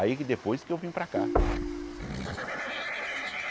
Aí que depois que eu vim para cá.